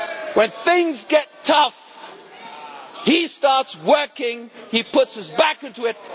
When things get tough, he starts working. He puts his back into